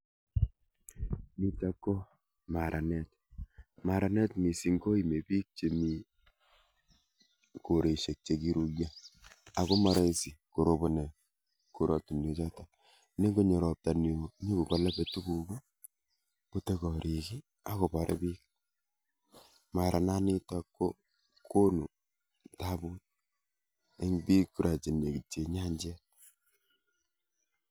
Nitok ko maranet, maranet missing koime biik chemi koroshek, chekiyuumi. Ako moroisi koroboni korotinwekchoton, nengonyoo ropta newoo nyon koboluu tuguuk, kotakorik ak komarbiik. Maranet nitok ko konuu tabuu, eng biik kora che nekityiin ak nyanyet.